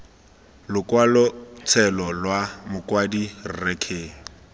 lokwalotshelo lwa mokwadi rre k